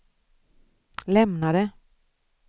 lämnade